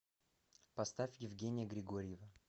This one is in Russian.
поставь евгения григорьева